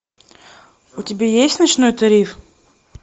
у тебя есть ночной тариф